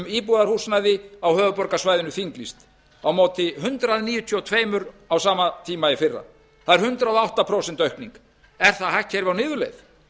íbúðarhúsnæði á höfuðborgarsvæðinu þinglýst á móti hundrað níutíu og tvö á sama tíma í fyrra það er hundrað og átta prósent aukning er það hagkerfi á niðurleið